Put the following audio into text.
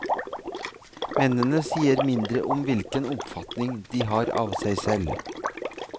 Mennene sier mindre om hvilken oppfatning de har av seg selv.